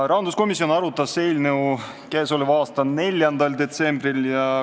Rahanduskomisjon arutas eelnõu 4. detsembril.